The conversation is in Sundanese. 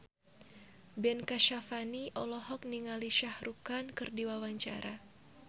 Ben Kasyafani olohok ningali Shah Rukh Khan keur diwawancara